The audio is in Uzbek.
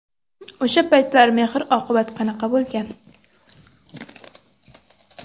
O‘sha paytlar mehr-oqibat qanaqa bo‘lgan?